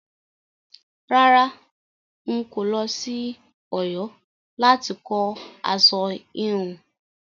Rárá, ó lọ sí Ọ̀yọ́ láti kọ́ aṣọ híhun.